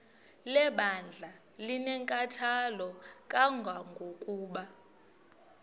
lebandla linenkathalo kangangokuba